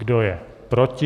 Kdo je proti?